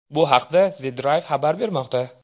Bu haqda The Drive xabar bermoqda .